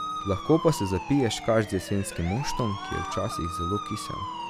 Lahko pa se zapiješ kar z jesenskim moštom, ki je včasih zelo kisel.